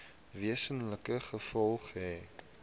wesenlike gevolge hê